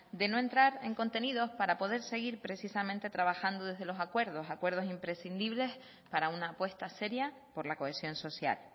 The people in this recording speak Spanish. de no entrar en contenidos para poder seguir precisamente trabajando desde los acuerdos acuerdos imprescindibles para una apuesta seria por la cohesión social